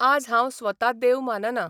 आज हांव स्वता देव मानना.